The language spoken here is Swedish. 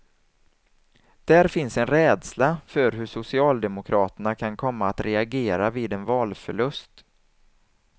Där finns en rädsla för hur socialdemokraterna kan komma att reagera vid en valförlust.